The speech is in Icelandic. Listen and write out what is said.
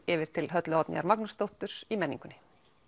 yfir til Höllu Oddnýjar Magnúsdóttur í menningunni